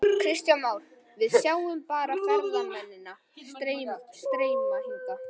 Kristján Már: Við sjáum bara ferðamennina streyma hingað?